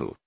For example,